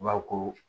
I b'a fɔ ko